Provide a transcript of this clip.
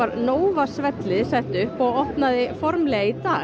Nova svellið opnaði formlega í dag